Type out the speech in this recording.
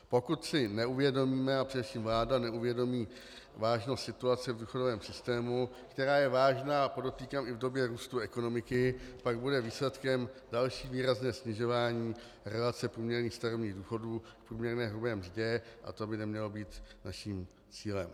Pokud si neuvědomíme a především vláda neuvědomí vážnost situace v důchodovém systému, která je vážná, a podotýkám, i v době růstu ekonomiky, pak bude výsledkem další výrazné snižování relace průměrných starobních důchodů k průměrné hrubé mzdě a to by nemělo být naším cílem.